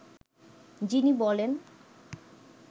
যিনি বলেন